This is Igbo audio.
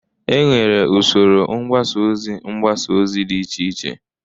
Enwere usoro mgbasa ozi mgbasa ozi dị iche iche